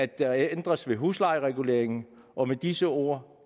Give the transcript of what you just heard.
der ændres ved huslejereguleringen og med disse ord